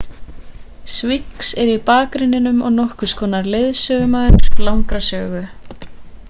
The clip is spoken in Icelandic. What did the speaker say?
sphinx er í bakgrunninum og nokkurs konar sögumaður langrar sögu